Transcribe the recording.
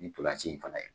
Ni ntolanci in fana ye